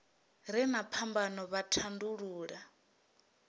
re na phambano vha tandulula